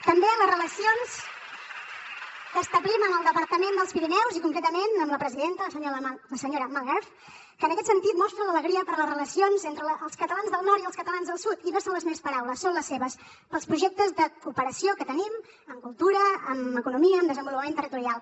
també les relacions que establim amb el departament dels pirineus i concretament amb la presidenta la senyora malherbe que en aquest sentit mostra l’alegria per les relacions entre els catalans del nord i els catalans del sud i no són les meves paraules són les seves pels projectes de cooperació que tenim en cultura en economia en desenvolupament territorial